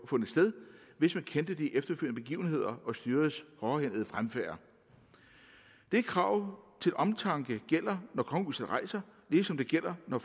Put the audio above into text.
fundet sted hvis man kendte de efterfølgende begivenheder og styrets hårdhændede fremfærd det krav til omtanke gælder når kongehuset rejser ligesom det gælder når